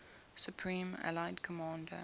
supreme allied commander